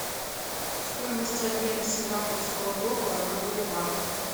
стоимость обмена сингапурского доллара на боливар